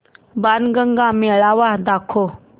बाणगंगा मेळावा दाखव